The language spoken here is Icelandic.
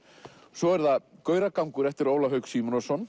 svo er það gauragangur eftir Ólaf Hauk Símonarson